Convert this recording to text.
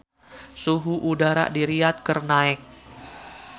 Suhu udara di Riyadh keur naek